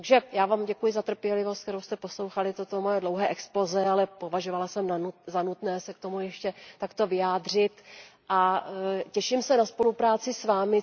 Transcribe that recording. Já vám děkuji za trpělivost, se kterou jste poslouchali toto mé dlouhé exposé, ale považovala jsem za nutné se k tomu ještě takto vyjádřit a těším se na spolupráci s vámi.